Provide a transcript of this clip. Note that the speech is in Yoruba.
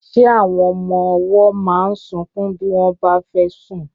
Ṣé àwọn ọmọ ọwọ́ máa ń sunkún bí wọ́n bá fẹ́ sùn?